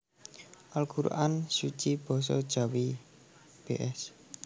Al Qur an Suci Basa Jawi bs